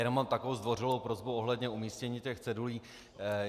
Jenom mám takovou zdvořilou prosbu ohledně umístění těch cedulí.